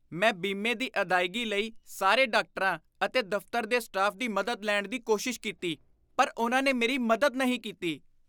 ਮੈਂ ਬੀਮੇ ਦੀ ਅਦਾਇਗੀ ਲਈ ਸਾਰੇ ਡਾਕਟਰਾਂ ਅਤੇ ਦਫ਼ਤਰ ਦੇ ਸਟਾਫ ਦੀ ਮਦਦ ਲੈਣ ਦੀ ਕੋਸ਼ਿਸ਼ ਕੀਤੀ। ਪਰ ਉਨ੍ਹਾਂ ਨੇ ਮੇਰੀ ਮਦਦ ਨਹੀਂ ਕੀਤੀ।